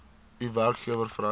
u werkgewer vereis